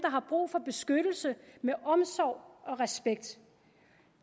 har brug for beskyttelse med omsorg og respekt